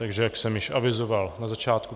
Takže jak jsem již avizoval na začátku...